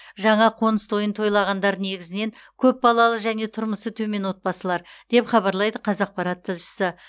жаңа қоңыс тойын тойлағандар негізінен көпбалалы және тұрмысы төмен отбасылар деп хабарлайды қазақпарат тілшісі